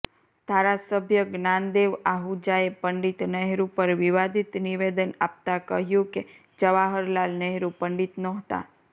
ધારાસભ્ય જ્ઞાનદેવ આહૂજાએ પંડિત નહેરૂ પર વિવાદિત નિવેદન આપતા કહ્યું કે જવાહરલાલ નહેરૂ પંડિત નહોતા